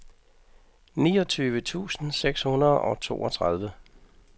niogtyve tusind seks hundrede og toogtredive